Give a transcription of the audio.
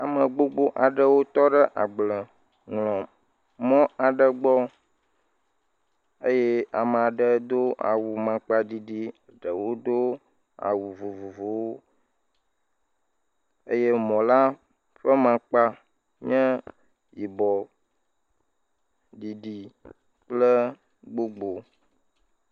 Ame gbogbo aɖewo tɔ ɖe agbleŋlɔmɔ̃ aɖe gbɔ eye ame aɖe do awu maŋkpaɖiɖi, ɖewo do awu vovovowo eye mɔ̃la ƒe maŋkpa nye yibɔɔ, ɖiɖi kple gbogboo.